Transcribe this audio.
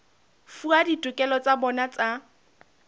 fuwa ditokelo tsa bona tsa